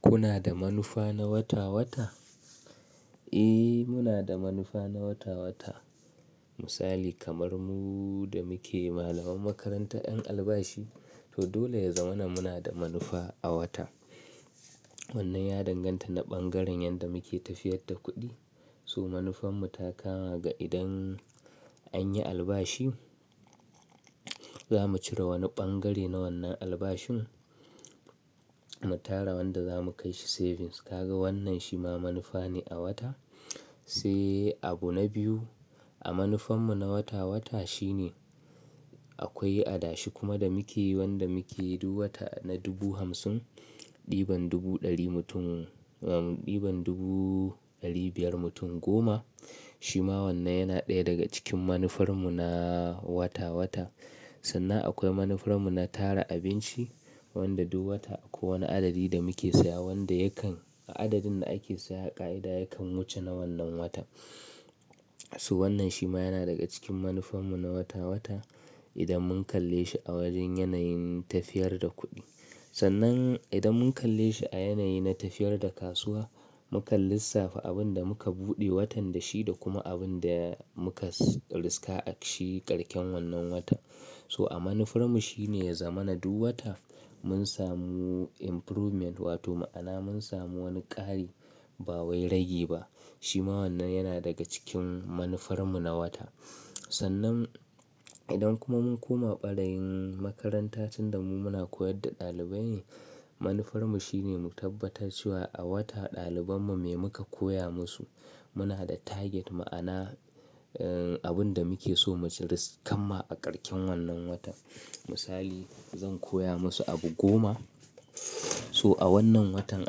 Kuna da manufa na wata-wata? Eh, muna da manufa na wata-wata. Misali kamar mu da muke malaman makarantar 'ƴan albashi. To dole ya zamana, muna da manufa a wata. Wannan ya danganta na ɓangaren yanda muke tafiyar da kuɗi. So manufarmu ta kama ga idan an yi albashi, zamu cire wani ɓangare na wannan albashin, mu tara wanda zamu kai shi savings. Kaga wannan shi ma manufa ne a wata. Sai abu na biyu, a manufarmu na wata-wata shine akwai adashi kuma da muke wanda muke duwata na dubu hamsin, ɗiban dubu ɗari mutum, ɗiban dubu ɗari biyar mutum goma. Shi ma wannan yana ɗaya daga cikin manufarmu na wata-wata. Sannan akwai manufarmu na tara abinci wanda duk wata akwai wani adadi da muke siya wanda yakan a adadin da ake siya ka'ida yakan wuce na wannan wata. So wannan shi ma yana daga cikin manufarmu na wata-wata idan mun kalle shi a wajen yanayin tafiyar da kuɗi. Sannan idan mun kalle shi a yanayi na tafiyar da kasuwa, mukan lissafa abin da muka buɗe watan da shi da, kuma abin da muka riska a ƙarshen wannan wata. So, a manufarmu shine ya zama na duk wata, mun samu improvement, wato ma'ana mun samu wani ƙari, ba wai ragi ba. Shi ma wannan yana daga cikin manufarmu na wata. Sannan, idan kuma mun koma ɓarayin makarantar tunda mu muna koyar da ɗalibai, manufarmu shine mu tabbatar cewa a wata ɗalibanmu me muka koya musu muna da target, ma'ana abin da muke so mu ci ris kanma a ƙarshen wannan watan. Misali, zan koya musu abu goma. So a wannan watan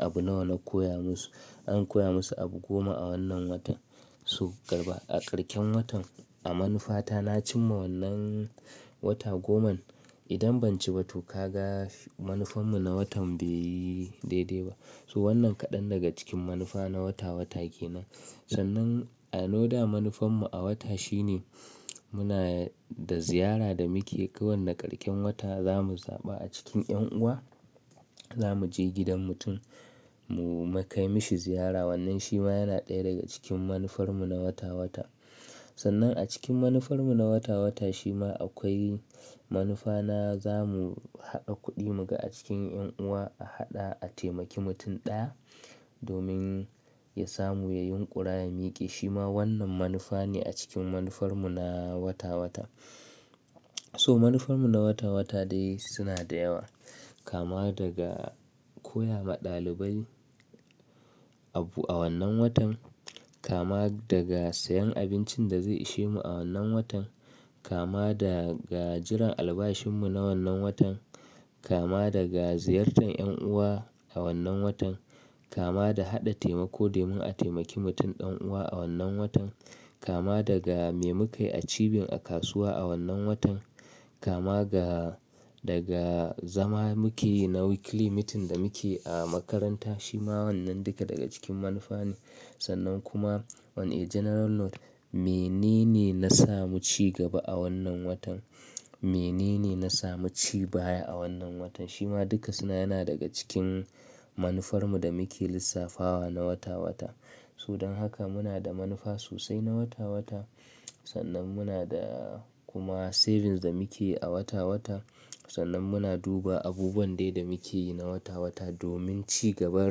abu nawa na koya musu? An koya musu abu goma a wannan watan. So, ƙarba a ƙarshen watan a manufa ta na cimma wannan wata goma. Idan ban ci ba, to ka ga manufarmu na watan bai yi daidai ba. So wannan kaɗan daga cikin manufa na wata-wata kenan. Sannan another manufarmu a wata shine, muna da ziyara da muke yi. Kowanne ƙarshen wata, zamu zaɓa a cikin 'ƴan uwa. Zamu je gidan mutum, mu kai mishi ziyara. Wannan shi ma yana ɗaya daga cikin manufarmu na wata-wata. Sannan a cikin manufarmu na wata-wata shi ma akwai manufa na, zamu haɗa kuɗi, mu ga a cikin 'ƴan uwa, a haɗa a taimaki mutum ɗaya, domin ya samu, ya yin ƙura ya miƙe. Shi ma wannan manufa ne a cikin manufarmu na wata-wata. So manufarmu na wata-wata dai suna da yawa. Kama daga, koya ma ɗalibai abu a wannan watan, kama daga siyan abincin da zai ishe mu a wannan watan, kama daga jiran albashinmu na wannan watan, kama daga ziyartar 'ƴan uwa a wannan watan, kama da haɗa taimako domin a taimaki mutum ɗan uwa a wannan watan, kama daga, me muka yi a cibin a kasuwa a wannan watan, kama daga, zama muke yi na weekly meeting da muke yi, a makaranta. Shi ma wannan duka daga cikin manufa ne. Sannan kuma on a general note, me nene na samu cigaba a wannan watan? Me nene na samu cibaya a wannan watan? Shi ma duka suna yana daga cikin manufarmu da muke lissafawa na wata-wata. So don haka muna da manufa sosai na wata-wata. Sannan muna da kuma savings da muke yi a wata-wata. Sannan muna duba abubuwan dai da muke yi na wata-wata, domin cigaban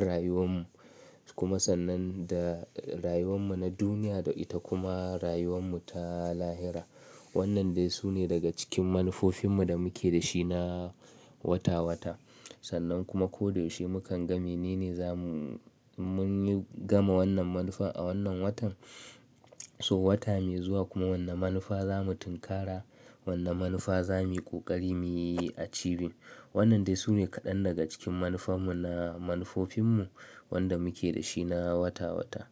rayuwar mu. Kuma sannan da rayuwar mu na duniya da ita kuma rayuwar mu ta lahira. Wannan dai su ne daga cikin manufofinmu da muke da shi na wata-wata. Sannan kuma, ko da yaushe mukan ga me nene zamu mun yi gama wannan manufa a wannan watan. So wata mai zuwa kuma wanne manufa zamu tinkara, wanne manufa zamu yi ƙoƙari mu yi a cibin. Wannan dai su ne kaɗan daga cikin manufarmu na manufofinmu, wanda muke da shi na wata-wata.